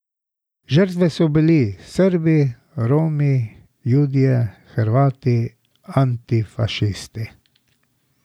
Žrtve so bili Srbi, Romi, Judje, Hrvati, antifašisti.